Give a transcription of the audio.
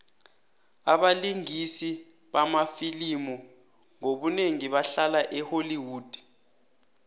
abalingisi bamafilimu ngobunengi bahlala e holly wood